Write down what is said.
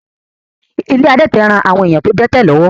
Ilé àwọn adẹ́tẹ̀ ń ran àwọn èèyàn tó dẹ́tẹ̀ lọ́wọ́